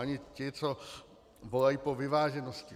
Ani ti, co volají po vyváženosti.